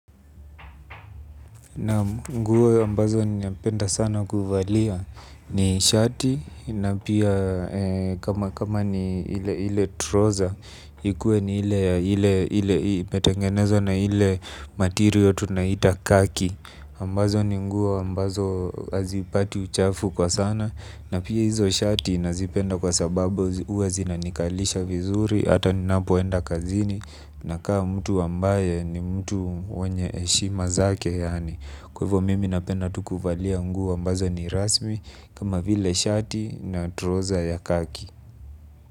Naam nguo ambazo ninapenda sana kuvalia ni shati na pia kama ni ile trouser ikuwe ni ile imetengenezwa na ile ya material ya khaki ambazo ni nguo, ambazo hazipati uchafu kwa sana. Na pia hizo shati nazipenda kwa sababu huwa zinanikalisha vizuri. Hata ninapoenda kazini nakaa mtu ambaye ni mtu mwenye heshima zake yaani kwa hivo mimi napenda ti kuvalia nguo ambazo ni rasmi kama vile shati na trouser ya khaki.